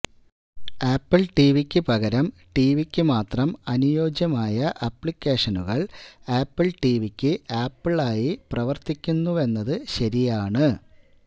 apple ടിവിയ്ക്ക് പകരം ടിവിയ്ക്ക് മാത്രം അനുയോജ്യമായ ആപ്ലിക്കേഷനുകൾ ആപ്പിൾ ടിവിയ്ക്ക് ആപ്പിളായി പ്രവർത്തിക്കുന്നുവെന്നത് ശരിയാണ്